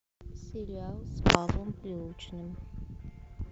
сериал с павлом прилучным